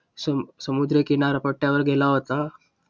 समुद्रकिनार पट्ट्यावर गेला होता.